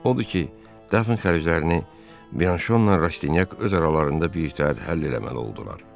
Odur ki, dəfn xərclərini Biyanşonla Rastinyak öz aralarında birgə həll eləməli oldular.